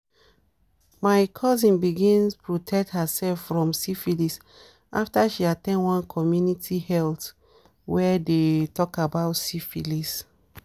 my cousin bigns protect herself from syphilis after she at ten d one community health wey they dey talk about syphilis